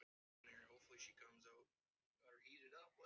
Ég hef verið vond við hann.